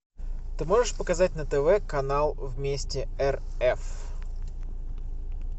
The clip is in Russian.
ты можешь показать на тв канал вместе рф